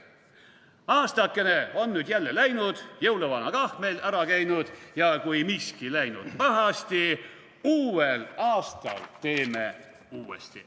/ Aastakene on nüüd jälle läinud, / jõuluvana kah meil ära käinud / ja kui miski läinud pahasti / uuel aastal teeme uuesti.